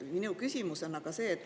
Mu küsimus on aga see.